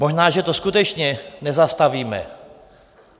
Možná, že to skutečně nezastavíme.